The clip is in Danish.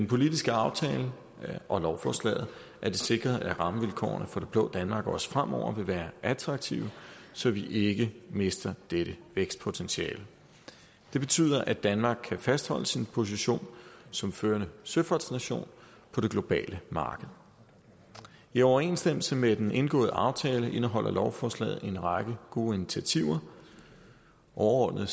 politiske aftale og lovforslaget er det sikret at rammevilkårene for det blå danmark også fremover vil være attraktive så vi ikke mister dette vækstpotentiale det betyder at danmark kan fastholde sin position som førende søfartsnation på det globale marked i overensstemmelse med den indgåede aftale indeholder lovforslaget en række gode initiativer overordnet